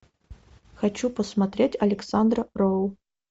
хочу посмотреть александра роу